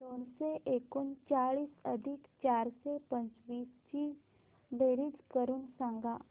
दोनशे एकोणचाळीस अधिक चारशे पंचवीस ची बेरीज करून सांगा